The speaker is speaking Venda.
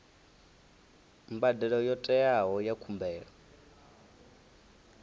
mbadelo yo teaho ya khumbelo